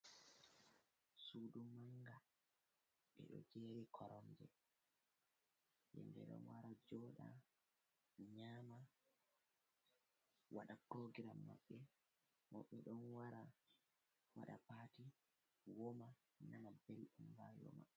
Sudu manga ɓe ɗo jeri koronje, hem ɓe ɗon wara joɗa nyama waɗa kogram maɓɓe, woɓɓe ɗo wara waɗa pati woma nana belɗon rayu maɓɓe.